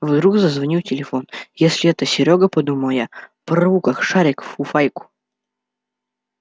вдруг зазвонил телефон если это серёга подумала я порву как шарик фуфайку